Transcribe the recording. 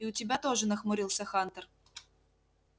и у тебя тоже нахмурился хантер